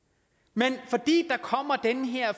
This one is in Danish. men fordi der kommer den her